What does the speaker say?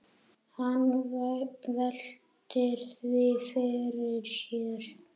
Hann veltir því fyrir sér.